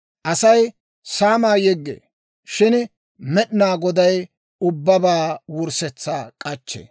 Asay saamaa yeggee; shin Med'inaa Goday ubbabaa wurssetsaa k'achchee.